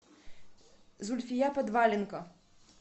зульфия подваленко